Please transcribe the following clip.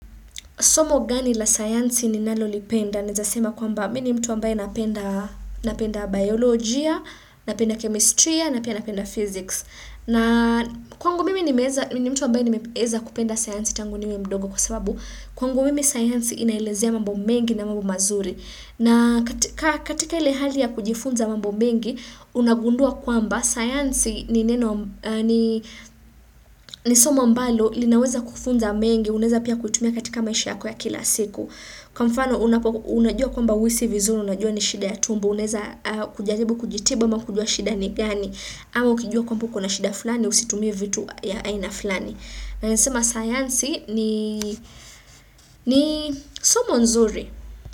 Somo gani la sayansi ninalolipenda? Naweza sema kwamba mimi mtu ambaye napenda biolojia, napenda chemistry, na pia napenda physics. Na kwangu mimi ni mtu ambaye nimeeza kupenda sayansi tangu niwe mdogo kwa sababu kwangu mimi sayansi inaelezea mambo mengi na mambo mazuri. Na katika ile hali ya kujifunza mambo mengi, unagundua kwamba, science ni somo ambalo, linaweza kufunza mengi, unaeza pia kutumia katika maisha yako ya kila siku. Kwa mfano, unajua kwamba huhisi vizuri, unajua ni shida ya tumbo, unaweza kujaribu kujitibu ama kujua shida ni gani, ama ukijua kwamba kuna shida fulani, usitumie vitu ya aina fulani. Nesema, sayansi ni somo nzuri.